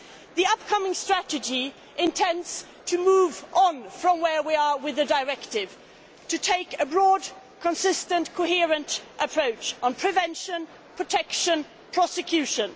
The upcoming strategy intends to move on from where we are with the Directive to take a broad, consistent and coherent approach on prevention, protection and prosecution.